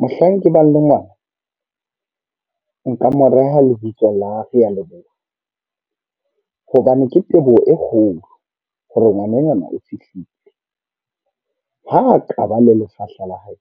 Mohlang ke bang le ngwana. Nka mo reha lebitso la Realeboha. Hobane ke teboho e kgolo, hore ngwanenwana o fihlile. Ha a kaba le lefahla la hae,